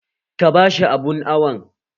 Ka bashi abun awon!